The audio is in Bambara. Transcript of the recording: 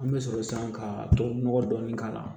An bɛ sɔrɔ san ka tubabu nɔgɔ dɔɔni k'a la